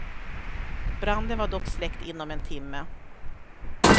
Branden var dock släckt inom en timme.